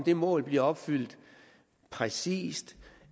det mål bliver opfyldt præcist